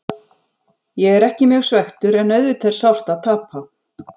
Ég er ekki mjög svekktur en auðvitað er sárt að tapa.